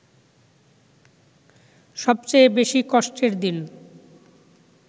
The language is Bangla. সবচেয়ে বেশি কষ্টের দিন